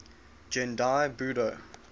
gendai budo